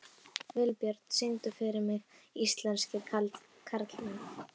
Vilbjörn, syngdu fyrir mig „Íslenskir karlmenn“.